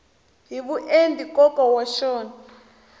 hi vuenti nkoka wa xona